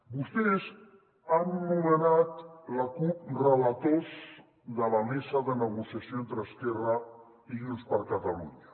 vostès han nomenat la cup relators de la mesa de negociació entre esquerra i junts per catalunya